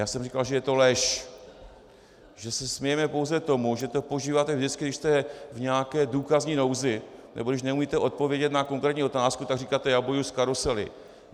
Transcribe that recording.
Já jsem říkal, že je to lež, že se smějeme pouze tomu, že to používáte vždycky, když jste v nějaké důkazní nouzi nebo když neumíte odpovědět na konkrétní otázku, tak říkáte: já bojuji s karusely.